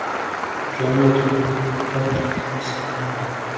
jwa motho bo kwadisiwa morago